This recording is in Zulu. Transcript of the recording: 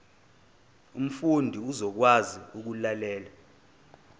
umfundi uzokwazi ukulalela